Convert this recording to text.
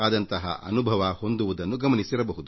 ಆ ಅನುಭವ ಹೊಂದುವುದನ್ನು ನೀವೇ ಗಮನಿಸಿರಬಹುದು